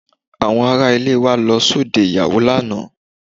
Àwọn ará ilé wa lọ sóde ìyàwó lánàá